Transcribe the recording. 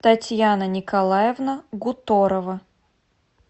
татьяна николаевна гуторова